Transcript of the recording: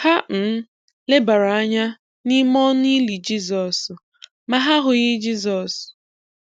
Ha um lebara anya n’ime ọnụ ili Jisọs, ma ha ahụghị Jisọs.